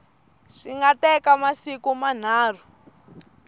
swi nga teka masiku manharhu